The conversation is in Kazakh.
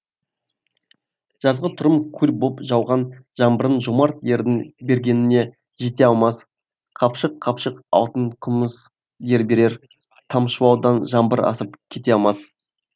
жазғытұрым көл боп жауған жаңбырың жомарт ердің бергеніне жете алмас қапшық қапшық алтын күміс ер берер тамшылаудан жаңбыр асып кете алмас